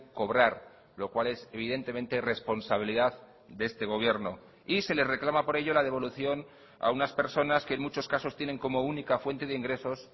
cobrar lo cual es evidentemente responsabilidad de este gobierno y se le reclama por ello la devolución a unas personas que en muchos casos tienen como única fuente de ingresos